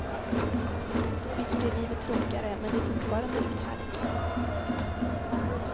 Visst blir livet tråkligare, men det är fortfarande uthärdligt.